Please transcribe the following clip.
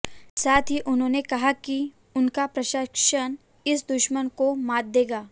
साथ ही उन्होंने कहा कि उनका प्रशासन इस दुश्मन को मात देगा